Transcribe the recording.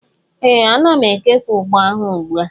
ee, ana m ekewa ugbo ahụ ugbu a.